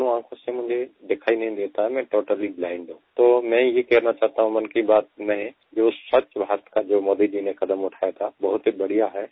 दोनों आँखों से मुझे दिखाई नहीं देता मैं टोटली ब्लाइंड हूँ तो मैं ये कहना चाहता हूँ मन की बात में जो स्वच्छ भारत का जो मोदी जी ने कदम उठाया था बहुत ही बढ़िया है